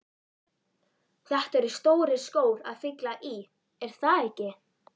Þetta eru stórir skór að fylla í, er það ekki?